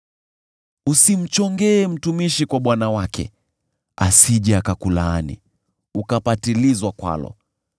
“Usimchongee mtumishi kwa bwana wake, asije akakulaani, ukapatilizwa kwalo.